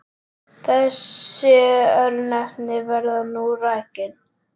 Þessi örnefni verða nú rakin